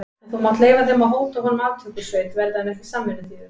En þú mátt leyfa þeim að hóta honum aftökusveit, verði hann ekki samvinnuþýður.